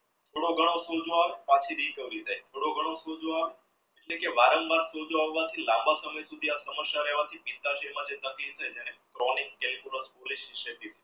થોડો ઘણો સોજો આવે બાકી recovery થઈ થોડો ઘણો સોજો આવે એટલે કે વારંવાર સોજો આવવા થી લાંબા સમાય સુધી